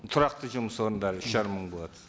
тұрақты жұмыс орындары үш жарым мың болады